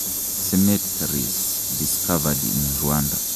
cemetaries discovered in Rwanda.